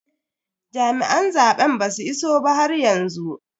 Jami'an zaben basu iso ba haryanzu.